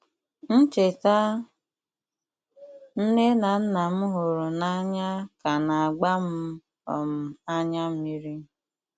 Ncheta nne na nna m hụrụ n'anya ka na-agba m um anya mmiri.